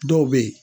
Dɔw bɛ yen